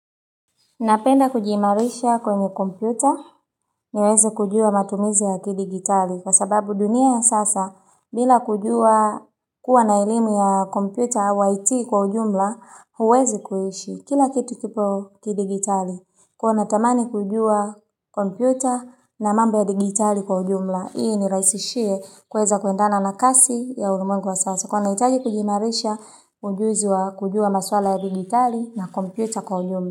Napenda kujiimarisha kwenye kompyuta niweze kujua matumizi ya kidigitali kwa sababu dunia ya sasa bila kujua kuwa na elimu ya kompyuta au IT kwa ujumla huwezi kuishi kila kitu kipo kidigitali kuwa natamani kujua kompyuta na mamba ya digitali kwa ujumla. Hii iniraisishie kuweza kuendana na kasi ya ulimwengu wa sasa kwa hio naitaji kujiimarisha ujuzi wa kujua maswala ya digitali na kompyuta kwa ujumla.